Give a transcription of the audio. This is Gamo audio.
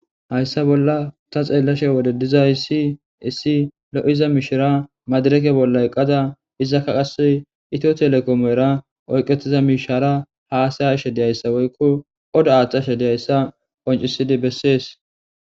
Hayssa bolla ta xeellashe wode dizay si isi lo7iza mishara madireke bolla eqqada izakka qase ito telekomoera oyqetiza mishara haasaya shediyayssa woykko oda aaththashediyayssa qoncisidi bessees.